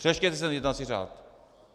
Přečtěte si jednací řád.